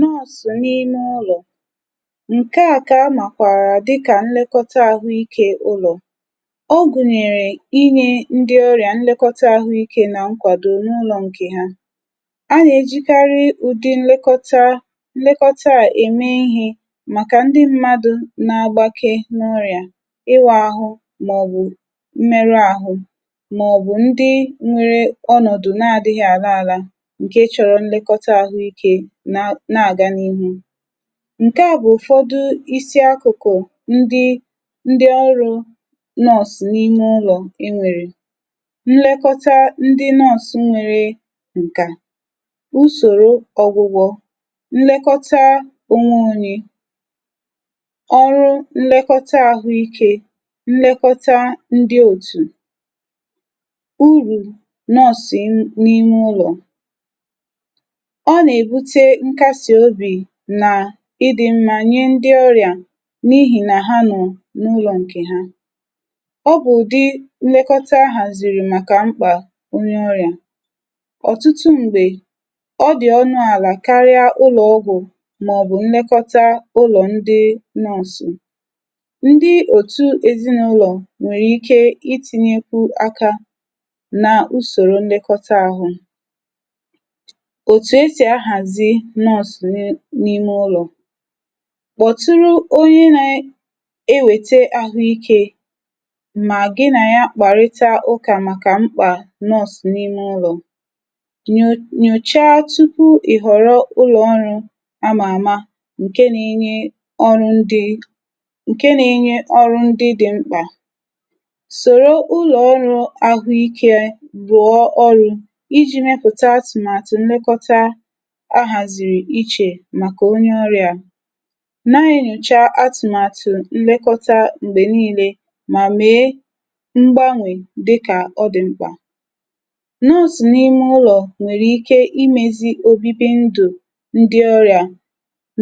Nọọ̀sụ̀ n’ime ụlọ̀: ǹke à ka amàkwàrà dịkà nlekọta àhụikė ụlọ̀. Ọ gùnyèrè inyė ndị ọrịà nlekọta àhụikė nà nkwàdo n’ụlọ̇ ǹkè ha. A nà-èjikarị ụ̀dị nlekọta nlekọta à ème ihė màkà ndị mmadù na-agbake n’ọrịà, ịwà àhụ mà ọ̀ bù mmerù àhụ, mà ọ̀ bù ndị nwere onòdù na-adị̇ghị̀ àla àla ǹke chọrọ nlekọta àhụikė nà-aga na-ihu. Nke a bụ̀ ụ̀fọdụ isi akụ̀kụ̀ ndi ndi ọrụ̇ nọọ̀sụ̀ n’ime ụlọ̀ e nwèrè; nlekọta ndi nọọ̀sụ̀ nwere ǹkà, usòrò ọ̀gwụgwọ̀, nlekọta ònwe onye. Ọrụ nlekọta àhụ ikė, nlekọta ndi òtù. Urù nọọ̀sụ̀ na n’ime ụlọ̀: Ọ na ebute nkasi obi na-idi mmà nye ndị ọrịà n’ihì nà ha nọ̀ n’ụlọ̀ ǹkè ha. Ọ bụ̀ ụ̀dị nlekọta ahàzìrì màkà mkpà onye ọrịà. Ọtụtụ m̀gbè, ọ dị̀ ọnụ àlà karịa ụlọ̀ ọgwụ̀ mà ọ̀ bụ̀ nlekọta ụlọ̀ ndị nọọ̀sụ̀. Ndị òtù ezinụlọ̀ nwèrè ike itinyekwu aka nà usòrò nlekọta ahụ̀. Otu esi ahasi nọọ̀sụ̀ na n’ime ụlọ̀; kpọ̀tụrụ onye na-ewète ahụike mà gị nà ya kpàrịtà ụkà màkà mkpà nọọ̀sụ̀ n’ime ụlọ̀, nyòchaa tupu ìhọ̀rọ̀ ụlọ̀ ọrụ̇ a mà àma ǹke na-enye ọrụ̇ ndị ǹke na-enye ọrụ̇ ndị dị̀ mkpà. Sòrò ụlọ̀ ọrụ̇ ahụike rụọ ọrụ̇ iji̇ mepụ̀ta atụ̀màtụ̀ nlekọta ahaseri eche maka onye ọria. Na-enyùcha atụ̀màtụ̀ nlekọta m̀gbè niilė mà mèe mgbanwè dịkà ọ dị̀ mkpà. Nọọ̀sụ̀ n’ime ụlọ̀ nwèrè ike imėzi òbibi ndụ̀ ndị ọrị̀à